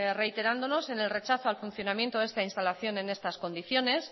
reiterándonos en el rechazo al funcionamiento de esta instalación en estas condiciones